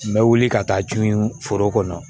N bɛ wuli ka taa tun foro kɔnɔ